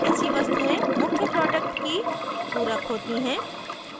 ऐसी वस्तुएं मुख्य प्रोडक्ट की पूरक होती हैं